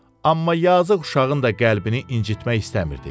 Amma yazıq uşağın da qəlbini incitmək istəmirdi.